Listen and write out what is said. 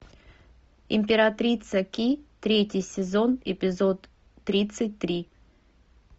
императрица ки третий сезон эпизод тридцать три